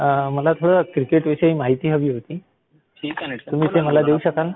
मला थोडी क्रिकेट विषयी माहिती हवी होती, तुम्ही ती मला देऊ शकाल?